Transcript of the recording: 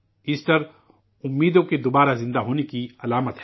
Easter امیدوں کے دوبارہ زندہ ہونے کی علامت ہے